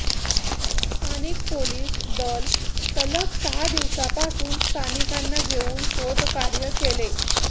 स्थानिक पोलिस दल सलग सहा दिवसापासुन स्थानिकांना घेऊन शोधकार्य केले